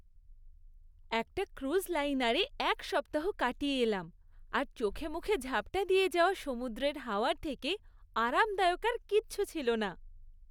একটা ক্রুজ লাইনারে এক সপ্তাহ কাটিয়ে এলাম, আর চোখেমুখে ঝাপ্টা দিয়ে যাওয়া সমুদ্রের হাওয়ার থেকে আরামদায়ক আর কিচ্ছু ছিল না।